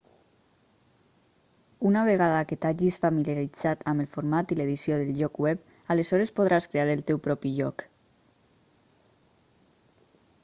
una vegada que t'hagis familiaritzat amb el format i l'edició del lloc web aleshores podràs crear el teu propi lloc